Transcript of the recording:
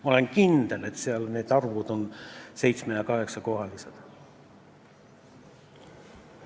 Ma olen kindel, et need arvud on 7- ja 8-kohalised.